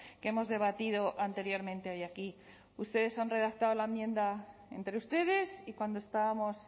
que hemos debatido anteriormente hoy aquí ustedes han redactado la enmienda entre ustedes y cuando estábamos